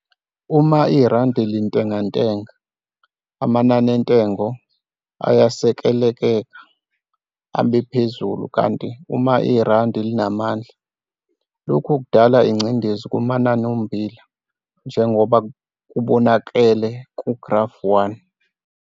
Uma irandi lintengantenga, amanani antengo ayesekeleka abe phezulu kanti uma irandi linamandla, lokhu kudala ingcindezi kumanani ommbila njengoba kubonakele ku-Grafu 1.